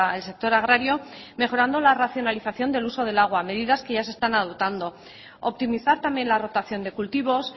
el sector agrario mejorando la racionalización del uso del agua medidas que ya se están adoptando optimizar también la rotación de cultivos